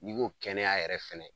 N'i ko kɛnɛya yɛrɛ fɛnɛ